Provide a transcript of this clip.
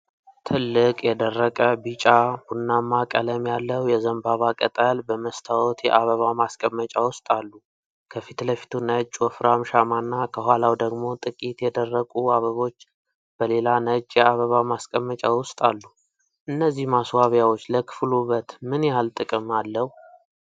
ትልቅ የደረቀ፣ ቢጫ-ቡናማ ቀለም ያለው የዘንባባ ቅጠል በመስታወት የአበባ ማስቀመጫ ውስጥ አሉ። ከፊት ለፊቱ ነጭ ወፍራም ሻማና ከኋላው ደግሞ ጥቂት የደረቁ አበቦች በሌላ ነጭ የአበባ ማስቀመጫ ውስጥ አሉ። እነዚህ ማስዋቢያዎች ለክፍሉ ውበት ምን ጥቅም አለው?